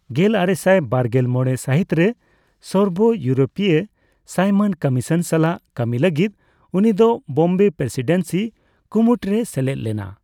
ᱜᱮᱞᱟᱨᱮᱥᱟᱭ ᱵᱟᱨᱜᱮᱞ ᱢᱚᱲᱮ ᱥᱟᱦᱤᱛ ᱨᱮ ᱥᱚᱨᱵᱚᱼᱤᱭᱩᱨᱳᱯᱤᱭᱚ ᱥᱟᱭᱢᱚᱱ ᱠᱚᱢᱤᱥᱚᱱ ᱥᱟᱞᱟᱜ ᱠᱟᱹᱢᱤ ᱞᱟᱜᱤᱫ ᱩᱱᱤᱫᱚ ᱵᱳᱢᱵᱮ ᱯᱨᱮᱥᱤᱰᱮᱱᱥᱤ ᱠᱩᱢᱩᱴ ᱨᱮᱭ ᱥᱮᱞᱮᱫ ᱞᱮᱱᱟ ᱾